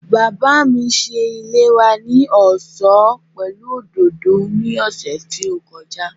Bàbá mi ṣe ilé wa ní ọ̀ṣọ́ pẹ̀lú òdòdó ní ọ̀sẹ̀ tí ó kọjá